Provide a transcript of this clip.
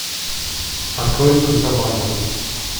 открой контрабанда